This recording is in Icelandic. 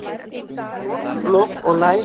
Lok, lok og læs.